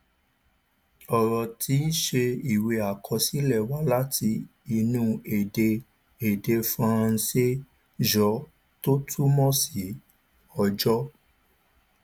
ọrọ tíí ṣe ìwé àkọsílẹ wá láti inú èdè èdè faransé jour tó túmọ sí ọjọ